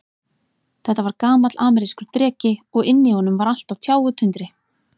Þetta var gamall amerískur dreki, og inni í honum var allt á tjá og tundri.